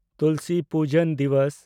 ᱛᱩᱞᱥᱤ ᱯᱩᱡᱟᱱ ᱫᱤᱵᱚᱥ